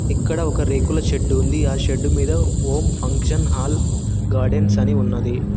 ఇక్కడ ఒక రేకుల షెడ్ ఉంది ఆ షెడ్ మీద ఓం ఫంక్షన్ హాల్ గార్డెన్స్ అని ఉన్నది.